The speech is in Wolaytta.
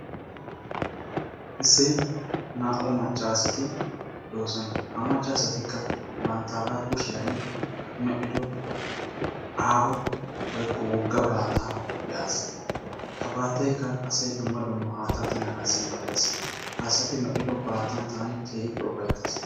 Issi naa"u macca asati de"oosona ha macca asatikka banttaaga kushiyani medhdhido aaho woykko wogga baattaa be"aas. Ha baattaykka asayi dumma dumma haattaa tiganaassi maaddes. Ha asasi medhdhido baattan taani keehippe ufayttas.